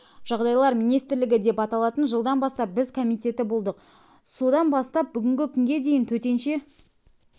жағдайлар министрлігі деп аталатын жылдан бастап біз комитеті болдық содан бастап бүгінгі күнге дейін төтенше